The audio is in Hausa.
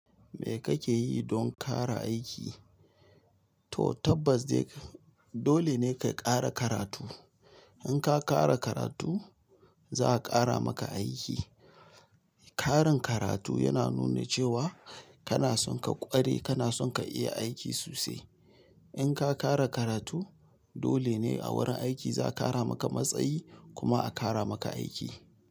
Me kake yi don ƙara aiki? To tabbas dai dole ne ka ƙara karatu. In ka ƙara karatu za a ƙara maka aiki. Karin karatu yana nuna cewa kana son ka ƙware, kana son ka iya aiki sosai. In ka ƙara karatu dole ne a wurin aiki za a ƙara maka matsayi kuma a ƙara maka aiki.